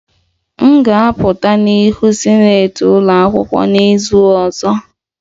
M ga-apụta n'ihu sinetị ụlọ akwụkwọ n'izu ọzọ